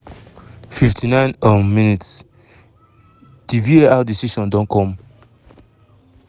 59 um mins - di var decision don come.